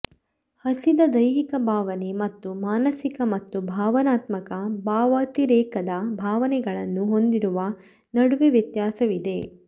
ಹಸಿದ ದೈಹಿಕ ಭಾವನೆ ಮತ್ತು ಮಾನಸಿಕ ಮತ್ತು ಭಾವನಾತ್ಮಕ ಭಾವಾತಿರೇಕದ ಭಾವನೆಗಳನ್ನು ಹೊಂದಿರುವ ನಡುವೆ ವ್ಯತ್ಯಾಸವಿದೆ